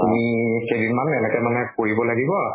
তুমি কেইদিন মান এনেকে মানে কৰিব লাগিব